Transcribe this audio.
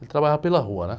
Ele trabalhava pela rua, né?